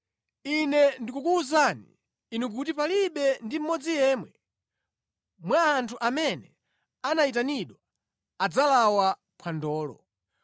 Ine ndikukuwuzani inu kuti palibe ndi mmodzi yemwe mwa anthu amene anayitanidwa adzalawa phwandolo.’ ”